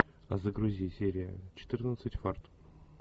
загрузи серия четырнадцать фарт